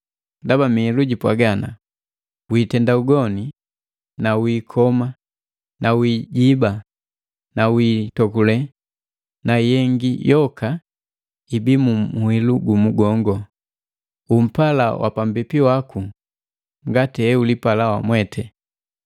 Ndaba miilu jipwaga, “Wiitenda ugoni na wiikoma na wiijiba na wiitokule,” na yengi yoka, ibii mu muhilu gumu gongo, “Umpala wapambipi waku ngati heulipala wamwete.”